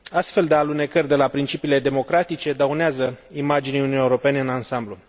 Astfel de alunecări de la principiile democratice dăunează imaginii Uniunii Europene în ansamblu.